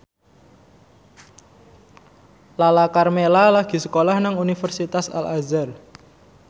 Lala Karmela lagi sekolah nang Universitas Al Azhar